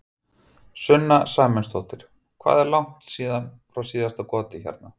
Sunna Sæmundsdóttir: Hvað er langt frá síðasta goti hérna?